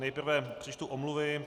Nejprve přečtu omluvy.